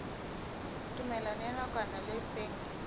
tumellano ya nakwana le seng